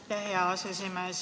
Aitäh, hea aseesimees!